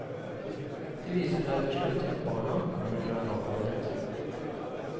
Det viser seg til slutt at barna kommer fra en annen planet.